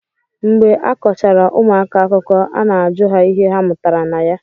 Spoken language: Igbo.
Mgbe a kọchara ụmụaka akụkọ a na-ajụ ha ihe ha mụtara na ya